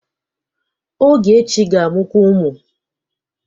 Ogechi ga-amụkwu ụmụ.